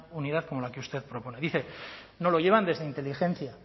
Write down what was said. unidad como la que usted propone dice no lo llevan desde inteligencia